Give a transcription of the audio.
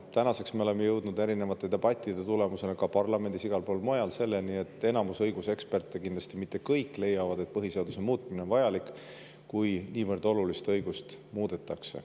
Tänaseks me oleme jõudnud erinevate debattide tulemusena parlamendis ja igal pool mujal selleni, et enamus õiguseksperte – kindlasti mitte kõik – leiavad, et põhiseaduse muutmine on vajalik, kui niivõrd olulist õigust muudetakse.